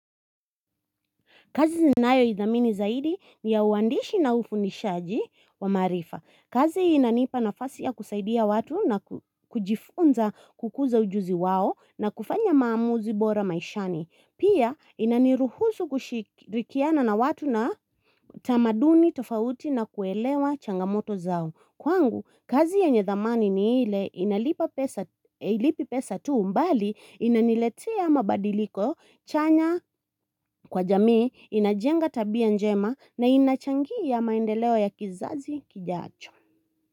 Kazi ninayoidhamini zaidi ni ya uwandishi na ufundishaji wa maarifa. Kazi inanipa nafasi ya kusaidia watu na kujifunza kukuza ujuzi wao na kufanya maamuzi bora maishani. Pia inaniruhusu kushirikiana na watu na tamaduni tofauti na kuelewa changamoto zao. Kwangu, kazi yenye thamani ni ile inalipa pesa tu mbali inaniletia mabadiliko, chanya kwa jamii, inajenga tabia njema na inachangia maendeleo ya kizazi kijacho.